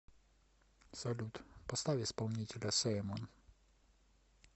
салют поставь исполнителя симон